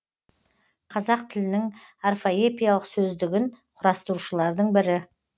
қазақ тілінің орфоэпиялық сөздігін құрастырушылардың бірі